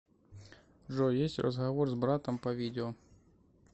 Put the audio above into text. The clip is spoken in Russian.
джой есть разговор с братом по видео